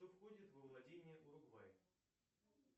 что входит во владение уругваи